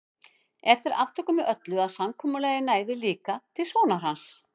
En þeir aftóku með öllu að samkomulagið næði líka til sonar hans.